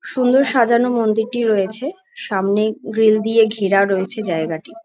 সুন্দর সাজানো মন্দিরটি রয়েছে সামনে গ্রিল দিয়ে ঘেরা রয়েছে জায়গাটা।